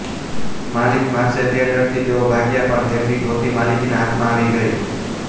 માલિક મારશે તે ડરથી તેઓ ભાગ્યા પણ તેમની ધોતી માલિકના હાથમાં આવી ગઇ